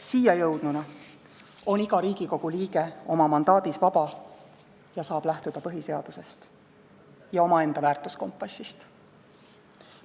Siia jõudnuna on iga Riigikogu liige oma mandaadis vaba ning saab lähtuda põhiseadusest ja omaenda väärtuskompassist.